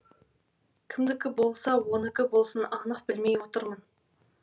кімдікі болса оныкі болсын анық білмей отырмын